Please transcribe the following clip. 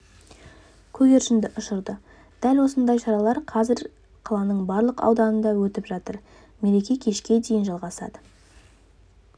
көгершінді ұшырды дәл осындай шаралар қазір қаланың барлық ауданында өтіп жатыр мереке кешке дейін жалғасады